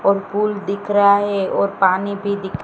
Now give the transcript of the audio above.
और फूल दिख रहा है और पानी भी दि--